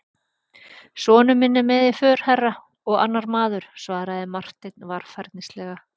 Sonur minn er með í för herra, og annar maður, svaraði Marteinn varfærnislega.